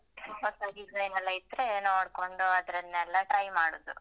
ಹೊಸ ಡಿಸೈನೆಲ್ಲ ಇದ್ರೆ ನೋಡ್ಕೊಂಡು ಅದ್ರನ್ನೆಲ್ಲ try ಮಾಡುದು ಅದೇ hobby .